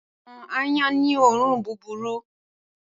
Awòn àáyán ni óorùn bùbúrù